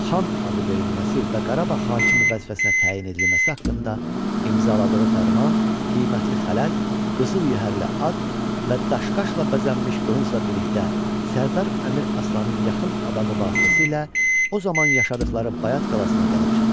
Xan adı verilməsi və Qarabağ hakimi vəzifəsinə təyin edilməsi haqqında imzaladığı fərman qiymətli xələt, qızıl yəhərli at və daşqaşla bəzənmiş qılıncla birlikdə Sərdar Əmir Aslanın yaxın adamı vasitəsilə o zaman yaşadıqları Bayat qalasına gəlib çatdı.